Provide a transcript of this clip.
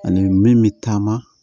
Ani min bɛ taama